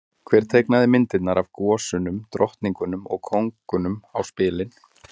Hver teiknaði myndirnar af gosunum, drottningunum og kóngunum á spilin?